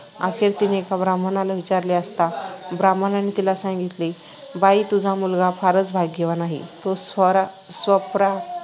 अखेर तिने एका ब्राह्मणाला विचारले असता ब्राह्मणाने तिला सांगितले, ‘‘बाई, तुझा मुलगा फारच भाग्यवान आहे. तो स्वपरा स्वपराक्रमाने